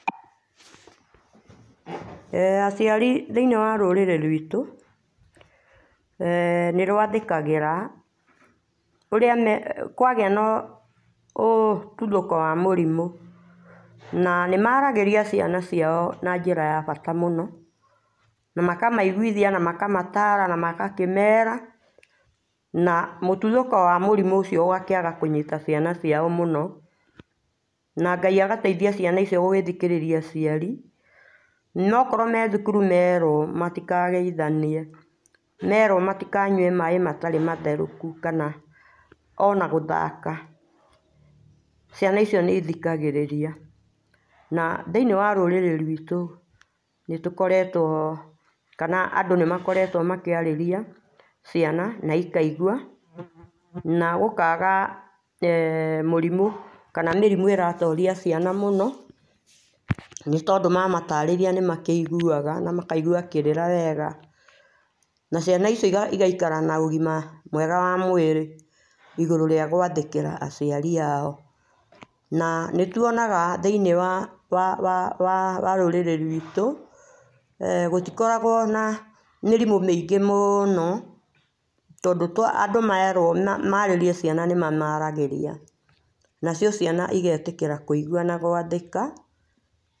Aciari thĩinĩ wa rũrĩrĩ rwitũ nĩ rwathĩkagĩra kwagĩa na ũtuthũko wa mũrimũ. Na nĩ maragĩrĩa ciana ciao na njĩra ya bata mũno na makamaiguithia na makamatara na magakĩmera na mũtuthũko wa mũrimũ ũcio ũgakĩaga kũnyita ciana ciao mũno. Na Ngai agateithia ciana icio gũthikĩrĩria aciari. Na okorwo me thukuru merwo matikageithanie merwo matikanyue maĩ matarĩ matherũku kana ona gũthaka, ciana icio nĩ ithikagĩrĩria. Na thĩinĩ wa rũrĩrĩ rwitũ nĩ tũkoretwo kana andũ nĩ makoretwo makĩarĩria ciana na ikaigua, na gũkaaga mũrimũ kana mĩrimũ ĩratoria ciana mũno. Nĩ tondũ mamataarĩria nĩ maiguaga na makaigua kĩrĩra wega, a ciana icio igaikara na ũgima mwega wa mwĩrĩ igũrũ rĩa gũathĩkĩra aciari ao. Na nĩ tuonaga thĩinĩ wa rũrĩrĩ rwitũ gũtikoragwo na mĩrimũ mĩingĩ mũno tondũ andũ merwo maarĩrie ciana nimamaaragĩria nacio ciana igetĩkĩra kũigua na gwathĩka.